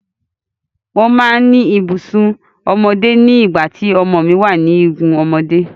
Mo máa ń ní ibùsùn ọmọdé ní igun nígbà tí ọmọ mi wà ní ọmọdé.